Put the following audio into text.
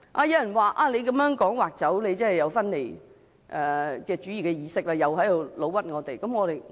有人指我們說"劃出"，便是有分離主義的意識，又在冤枉我們。